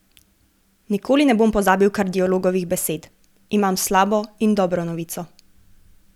Nikoli ne bom pozabil kardiologovih besed: 'Imam slabo in dobro novico.